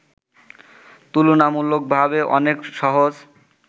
তুলনামূলকভাবে অনেক সহজ